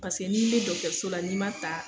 Paseke n'i bɛ dɔgotɔriso la n'i ma ta.